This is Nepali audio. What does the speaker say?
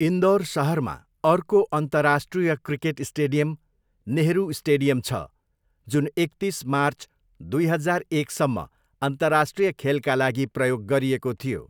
इन्दौर सहरमा अर्को अन्तर्राष्ट्रिय क्रिकेट स्टेडियम 'नेहरू स्टेडियम' छ, जुन एकतिस मार्च दुई हजार एकसम्म अन्तर्राष्ट्रिय खेलका लागि प्रयोग गरिएको थियो।